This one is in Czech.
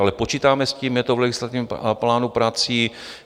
Ale počítáme s tím, je to v legislativním plánu prací.